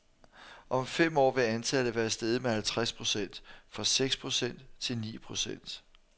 Om fem år vil antallet være steget med halvtreds procent, fra seks procent til ni procent.